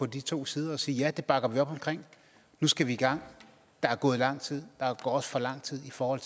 de to sider og sige ja det bakker vi op omkring nu skal vi i gang der er gået lang tid der går også for lang tid i forhold